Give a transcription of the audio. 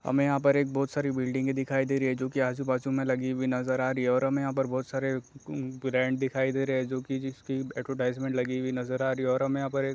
हमें यहाँ पर एक बहुत सारी दिखाई दे रही है जो के आजु बाजु में लगी हुई नज़र आ रही है और हमें यहाँ पर बहोत सारे ब्रैंड दिखाई दे रहे हैं जो के जिस की लगी हुई नज़र आ रही है और हमें यहाँ पर--